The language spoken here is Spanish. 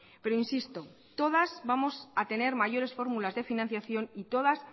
pero insisto todas vamos a tener mayores fórmulas de financiación y todas